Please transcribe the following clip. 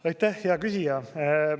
Aitäh, hea küsija!